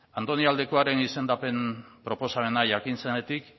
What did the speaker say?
andoni aldekoaren izendapen proposamena jakin zenetik